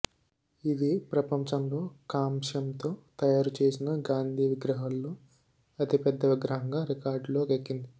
ఇది ప్రపంచంలో కాంస్యంతో తయారుచేసిన గాంధీ విగ్రహాల్లో అతిపెద్ద విగ్రహంగా రికార్డులోకెక్కింది